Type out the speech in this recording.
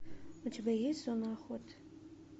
у тебя есть зона охоты